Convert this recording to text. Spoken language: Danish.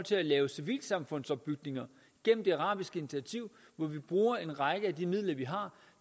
til at lave civilsamfundsopbygninger gennem det arabiske initiativ hvor vi bruger en række af de midler vi har